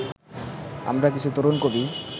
আমরা কিছু তরুণ কবি